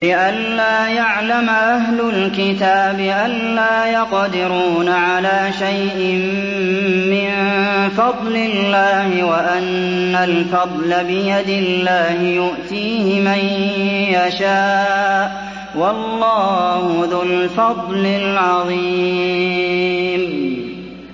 لِّئَلَّا يَعْلَمَ أَهْلُ الْكِتَابِ أَلَّا يَقْدِرُونَ عَلَىٰ شَيْءٍ مِّن فَضْلِ اللَّهِ ۙ وَأَنَّ الْفَضْلَ بِيَدِ اللَّهِ يُؤْتِيهِ مَن يَشَاءُ ۚ وَاللَّهُ ذُو الْفَضْلِ الْعَظِيمِ